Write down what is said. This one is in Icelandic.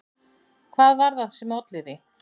Hvað var það sem olli því?